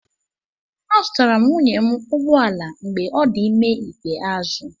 Azụtara m nwunye m ụgbọ ala mgbe ọ dị ime ikpeazụ.